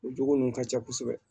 O jogo nun ka ca kosɛbɛ